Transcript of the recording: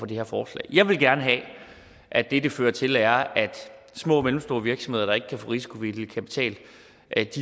det her forslag jeg vil gerne have at det det fører til er at små og mellemstore virksomheder der ikke kan få risikovillig kapital